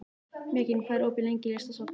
Mekkin, hvað er opið lengi í Listasafninu?